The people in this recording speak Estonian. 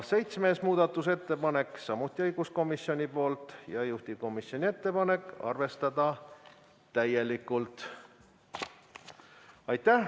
Seitsmes muudatusettepanek on samuti õiguskomisjonilt, juhtivkomisjoni ettepanek: arvestada täielikult.